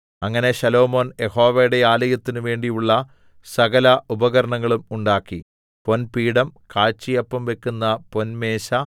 അങ്ങനെ ശലോമോൻ യഹോവയുടെ ആലയത്തിന് വേണ്ടിയുള്ള സകല ഉപകരണങ്ങളും ഉണ്ടാക്കി പൊൻപീഠം കാഴ്ചയപ്പം വയ്ക്കുന്ന പൊൻമേശ